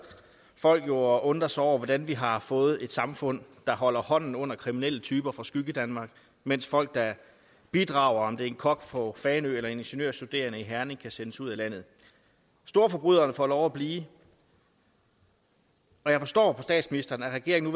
folk jo og undrer sig over hvordan vi har fået et samfund der holder hånden under kriminelle typer fra skyggedanmark mens folk der bidrager om det er en kok fra fanø eller en ingeniørstuderende i herning kan sendes ud af landet storforbryderne får lov at blive og jeg forstår på statsministeren at regeringen